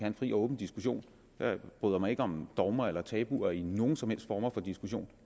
en fri og åben diskussion jeg bryder mig ikke om dogmer eller tabuer i nogen som helst former for diskussion